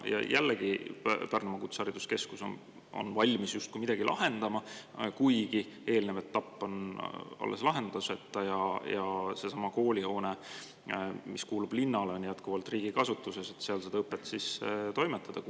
Ja jällegi Pärnumaa Kutsehariduskeskus on valmis justkui midagi lahendama, kuigi eelnev etapp on alles lahenduseta ja seesama koolihoone, mis kuulub linnale, on jätkuvalt riigi kasutuses, et seal seda õpet siis toimetada.